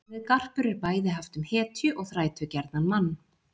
Orðið garpur er bæði haft um hetju og þrætugjarnan mann.